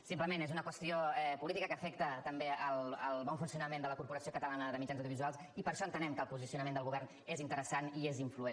simplement és una qüestió política que afecta també el bon funcionament de la corporació catalana de mitjans audiovisuals i per això entenem que el posicionament del govern és interessant i és influent